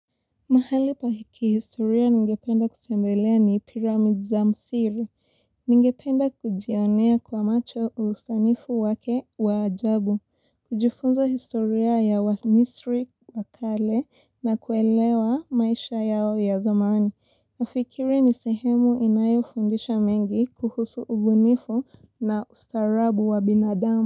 Mahali pa ki historia ningependa kutembelea ni pyramids za misiri. Ningependa kujionea kwa macho usanifu wake waajabu. Kujifunza historia ya wamisri wakale na kuelewa maisha yao ya zamani. Nafikiri ni sehemu inayo fundisha mengi kuhusu ubunifu na ustaarabu wa binadamu.